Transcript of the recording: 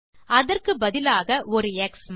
அதற்குப்பதிலாக ஒரு X mark